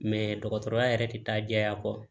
dɔgɔtɔrɔya yɛrɛ tɛ taa jɛya kɔ